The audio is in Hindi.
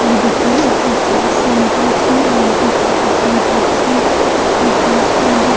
देखिये एक्सरसाइज सेंटर्स है यहाँ पे काफी सारे बच्चे एक्सरसाइज कर रहा।